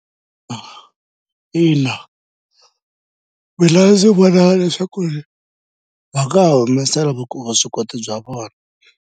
Ina mina ndzi vona leswaku va nga ha humesela vuswikoti bya vona.